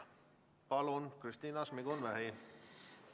Palun, Kristina Šmigun-Vähi!